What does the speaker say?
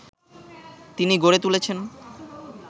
তিনি গড়ে তুলেছেন